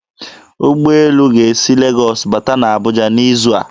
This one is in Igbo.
Ụgbọelu ga-esi Legọs bata na Abuja n'izu a.